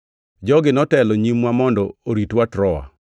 Jogi notelo nyimwa mondo oritwa Troa.